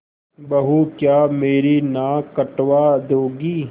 बहू क्या मेरी नाक कटवा दोगी